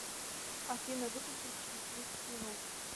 афина выключись через тридцать минут